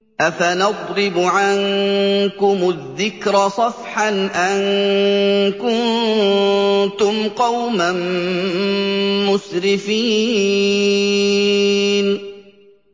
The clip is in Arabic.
أَفَنَضْرِبُ عَنكُمُ الذِّكْرَ صَفْحًا أَن كُنتُمْ قَوْمًا مُّسْرِفِينَ